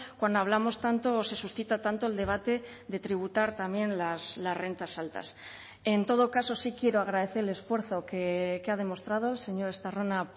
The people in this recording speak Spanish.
cuando hablamos tanto se suscita tanto el debate de tributar también las rentas altas en todo caso sí quiero agradecer el esfuerzo que ha demostrado señor estarrona